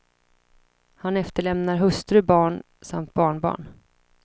Han efterlämnar hustru, barn samt barnbarn.